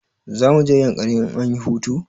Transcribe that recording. Za mu je yankari in anyi hutu